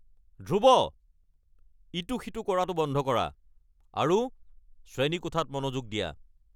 ধ্ৰুৱ, ইটো সিটো কৰাটো বন্ধ কৰা আৰু শ্ৰেণীকোঠাত মনোযোগ দিয়া!